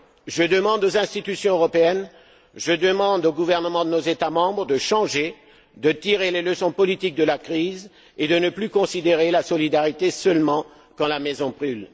Je demande aux institutions européennes, je demande aux gouvernements de nos États membres de changer, de tirer les leçons politiques de la crise et de ne plus considérer la solidarité seulement quand la maison brûle.